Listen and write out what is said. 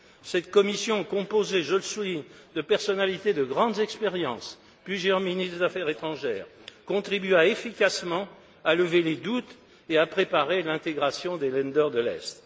Cette commission, composée je le souligne de personnalités de grandes expériences plusieurs ministres des affaires étrangères contribua efficacement à lever les doutes et à préparer l'intégration des Länder de l'Est.